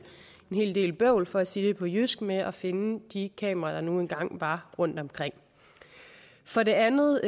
hel del bøvl for at sige det på jysk med at finde de kameraer der nu engang var rundtomkring for det andet